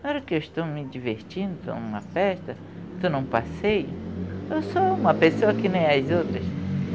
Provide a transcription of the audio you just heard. Na hora que eu estou me divertindo, estou em uma festa, estou em um passeio, eu sou uma pessoa que nem as outras.